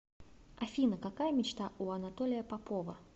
афина какая мечта у анатолия попова